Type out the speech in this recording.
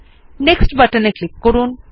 Next বাটনে click করুন